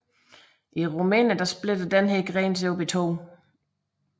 I Rumænien splitter denne gren sig op i to